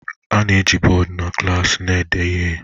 a na-eji bọọdụ na klaasị na-ede ihe